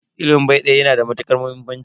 Ilimin bai daya yana da matukar muhimmanci.